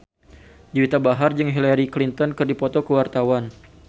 Juwita Bahar jeung Hillary Clinton keur dipoto ku wartawan